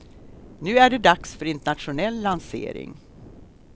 Nu är det dags för internationell lansering.